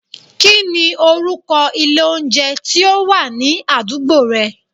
Kí ni orúkọ ilé oúnjẹ tí ó wà ní àdúgbò rẹ?